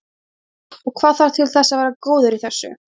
Ásgeir: Og hvað þarf til þess að vera góður í þessu?